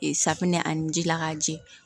safunɛ ani ji la k'a jɛ